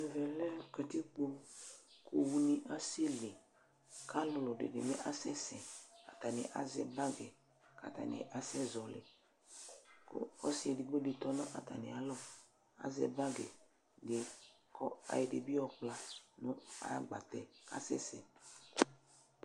Ɛvɛ lɛ katikpo kʋ owunɩ asɛli kʋ alʋlʋ dɩnɩ bɩ asɛsɛ Atanɩ azɛ bagɩ kʋ atanɩ asɛzɔɣɔlɩ kʋ ɔsɩ edigbo dɩ tɔ nʋ atamɩalɔ, azɛ bagɩ dɩ kʋ ayɔ ɛdɩ bɩ yɔkpla nʋ ayʋ agbatɛ yɛ kʋ asɛsɛ